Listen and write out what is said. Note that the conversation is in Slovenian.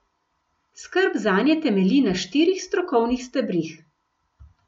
Skrb zanje temelji na štirih strokovnih stebrih.